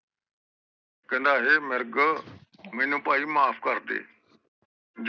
ਕਹਿੰਦਾ ਹੇ ਮਿਰਗ ਮੈਨੂੰ ਭਾਈ ਮਾਫ ਕਰਦੇ